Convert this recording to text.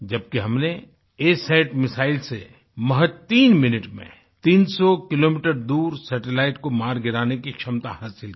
जबकि हमने ASAT missile से महज़ तीन मिनट में तीनसौ किलोमीटर दूर सैटेलाइट को मार गिराने की क्षमता हासिल की